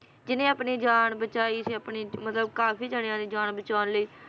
ਜਿੰਨੇ ਆਪਣੀ ਜਾਨ ਬਚਾਈ ਸੀ ਆਪਣੀ, ਮਤਲਬ, ਕਾਫੀ ਜਾਣਿਆਂ ਦੀ ਜਾਨ ਬਚਾਉਣ ਲਈ